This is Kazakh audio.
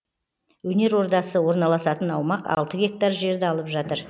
өнер ордасы орналасатын аумақ алты гектар жерді алып жатыр